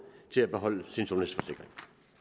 til at beholde sin sundhedsforsikring